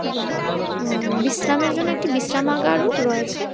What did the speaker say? এবং উম বিশ্রামের জন্য একটি বিশ্রামাগারও রয়েছে।